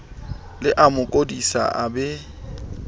le amo kodisa a be